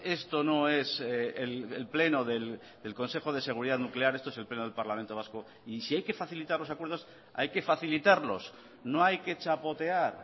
esto no es el pleno del consejo de seguridad nuclear esto es el pleno del parlamento vasco y si hay que facilitar los acuerdos hay que facilitarlos no hay que chapotear